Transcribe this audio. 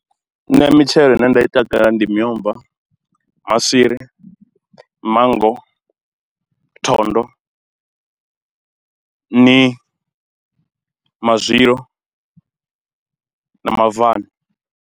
Nṋe mitshelo ine nda i takalela ndi miomva, maswiri, manngo, thondo, nii, mazwilo na mabvani.